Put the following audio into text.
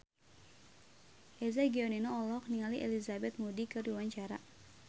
Eza Gionino olohok ningali Elizabeth Moody keur diwawancara